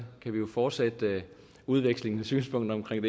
kan vi jo fortsætte udvekslingen af synspunkter omkring